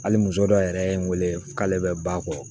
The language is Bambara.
Hali muso dɔ yɛrɛ ye n wele k'ale bɛ ba kɔ